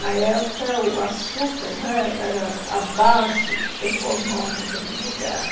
Na época, o açúcar né era a base econômica do lugar.